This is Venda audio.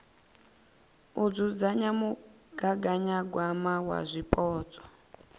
u dzudzanya mugaganyagwama wa zwipotso